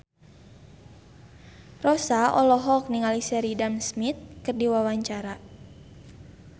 Rossa olohok ningali Sheridan Smith keur diwawancara